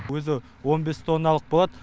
өзі он бес тонналық болады